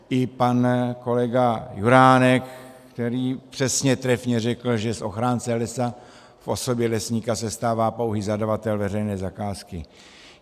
I pan kolega Juránek, který přesně trefně řekl, že z ochránce lesa v osobě lesníka se stává pouhý zadavatel veřejné zakázky.